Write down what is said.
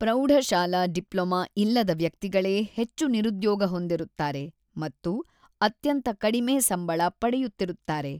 ಪ್ರೌಢಶಾಲಾ ಡಿಪ್ಲೊಮಾ ಇಲ್ಲದ ವ್ಯಕ್ತಿಗಳೇ ಹೆಚ್ಚು ನಿರುದ್ಯೋಗ ಹೊಂದಿರುತ್ತಾರೆ ಮತ್ತು ಅತ್ಯಂತ ಕಡಿಮೆ ಸಂಬಳ ಪಡೆಯುತ್ತಿರುತ್ತಾರೆ.